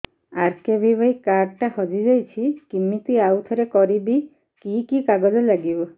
RKBY card ଟା ହଜିଯାଇଛି କିମିତି ଆଉଥରେ କରିବି କି କି କାଗଜ ଲାଗିବ